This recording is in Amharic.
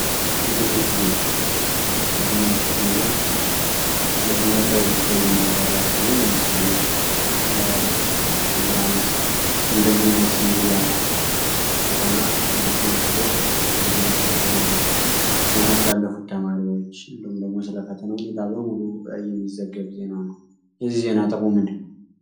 የትምህርት ዜና ስለ ትምህርታዊ ጉዳይ የሚያብራራ ሲሆን ለምሳሌ ስለ ኢንትራንስ ወንም ደግሞ የዩኒቨርሲቲ መግቢያ ፈተና አስመልክቶ የሚነገር ዜና አለ ዜና ስላለፉት ተማሪዎች እንዲሁም ደግሞ ስለ ፈተና ውኔታ በሙሉ እየሚዘገብ ዜና ነው የዚህ ዜና ጥቅም ምንድነው?